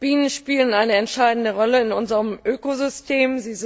Bienen spielen eine entscheidende Rolle in unserem Ökosystem.